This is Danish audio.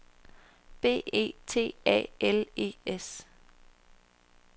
B E T A L E S